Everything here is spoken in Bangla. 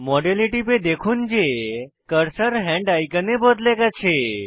মডেলে টিপে দেখুন যে কার্সার হ্যান্ড আইকনে বদলে গেছে